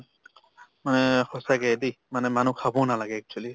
মানে সঁচাকে দে, মানে মানুহ খাবও নালাগে actually